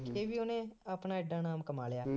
ਮਰਕੇ ਵੀ ਉਹਨੇ ਆਪਣਾ ਐਡਾ ਨਾਮ ਕਮਾ ਲਿਆ